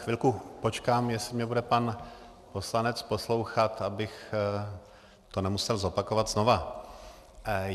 Chvilku počkám, jestli mě bude pan poslanec poslouchat, abych to nemusel opakovat znova.